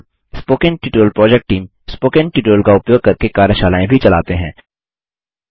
spoken tutorial project team spoken tutorial का उपयोग करके कार्यशालाएँ भी चलाते हैं